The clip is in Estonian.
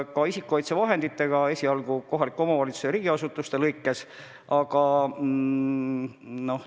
Ka isikukaitsevahenditega tegelesin esialgu kohalikke omavalitsusi ja riigiasutusi silmas pidades.